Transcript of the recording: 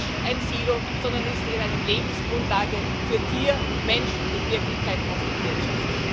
Es ist kein Silo, sondern es ist eine Lebensgrundlage für Tier, Mensch und in Wirklichkeit auch für die Wirtschaft.